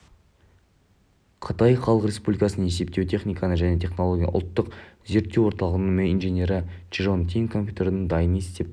қытай халық республикасының есептеу техника және технологиясы ұлттық зерттеу орталығының инженері чжан тин компьютердің дайын есептік